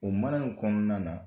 O mala ni kɔnɔna na